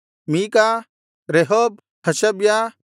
ಮೀಕ ರೆಹೋಬ್ ಹಷಬ್ಯ